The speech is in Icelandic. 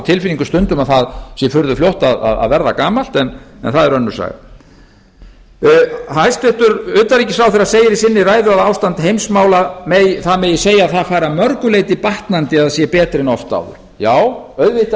tilfinningu stundum að það sé furðu fljótt að verða gamalt en það er önnur saga hæstvirts utanríkisráðherra segir í sinni ræðu að það megi segja að ástand heimsmála fari að mörgu leyti batnandi eða sé betra en oft áður já auðvitað